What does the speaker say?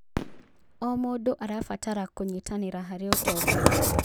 O mũndũ arabatara kũnyitanĩra harĩ ũtonga.